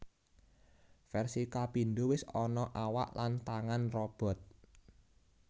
Versi kapindo wis ana awak lan tangan robot